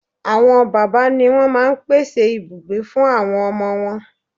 Àwọn bàbá ni wón máa n pèsè ibùgbé fún àwọn ọmọ wọn